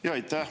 Aitäh!